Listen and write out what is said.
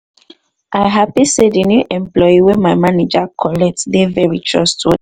i happy say the new employee wey my manager collect dey very trustworthy